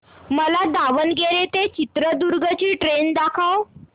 मला दावणगेरे ते चित्रदुर्ग ची ट्रेन दाखव